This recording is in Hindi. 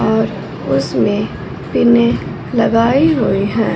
और उसमें पीने लगाई हुई हैं।